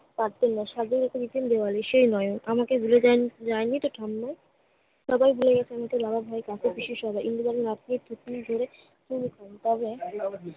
পারতেন না। স্বাধীন বেওয়ারিশ সে নয়। আমাকে ভুলে যায়~ যায়নি তো ঠাম্মি। সবাই ভুলে গেছে কিন্তু ইন্দুবালা তবে